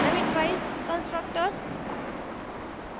parameterized constructors